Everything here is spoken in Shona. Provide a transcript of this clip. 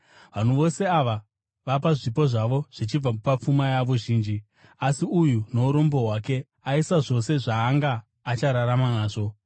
Vanhu vose ava vapa zvipo zvavo zvichibva papfuma yavo zhinji; asi uyu, nourombo hwake aisa zvose zvaanga achararama nazvo.”